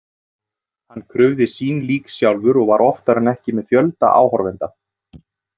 Hann krufði sín lík sjálfur og var oftar en ekki með fjölda áhorfenda.